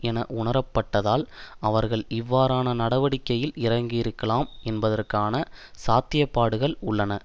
என உணரப்பட்டதால் அவர்கள் இவ்வாறான நடவடிக்கையில் இறங்கியிருக்கலாம் என்பதற்கான சாத்தியப்பாடுகள் உள்ளன